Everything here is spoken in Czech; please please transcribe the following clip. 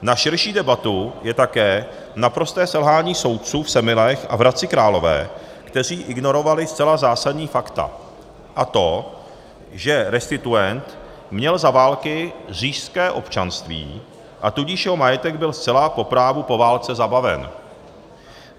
Na širší debatu je také naprosté selhání soudců v Semilech a v Hradci Králové, kteří ignorovali zcela zásadní fakta a to, že restituent měl za války říšské občanství, a tudíž jeho majetek byl zcela po právu po válce zabaven.